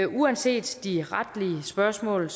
uanset de retlige spørgsmål